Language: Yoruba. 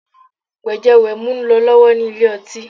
Wẹ̀jẹ-wẹ̀mu ń lọ lọ́wọ́ nílé ọtí